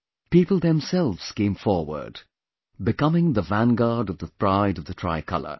People themselves came forward, becoming the vanguard of the pride of the tricolor